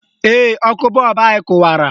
Ee, ọkụ bọọbụ anyị kụwara